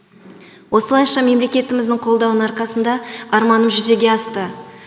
осылайша мемлекетіміздің қолдауының арқасында арманым жүзеге асты